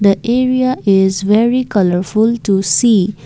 the area is very colourful to see.